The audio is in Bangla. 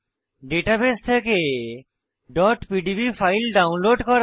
ডাটাবেস থেকে pdb ফাইল ডাউনলোড করা